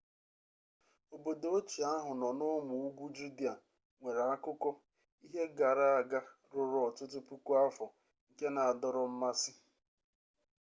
obodo ochie ahụ nọ n'ụmụ ugwu judịa nwere akụkọ ihe gara aga ruru ọtụtụ puku afọ nke na-adọrọ mmasị